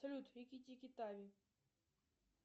салют рикки тикки тави